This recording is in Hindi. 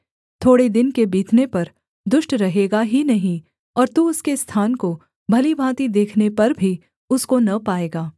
थोड़े दिन के बीतने पर दुष्ट रहेगा ही नहीं और तू उसके स्थान को भली भाँति देखने पर भी उसको न पाएगा